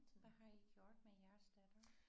Hvad har I gjort med jeres datter?